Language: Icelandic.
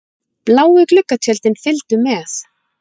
Bláu gluggatjöldin fylgdu með.